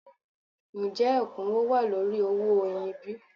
Ǹjẹ́ ẹ̀kúnwó wà lórí owó oyin bí?